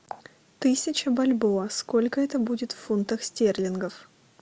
тысяча бальбоа сколько это будет в фунтах стерлингах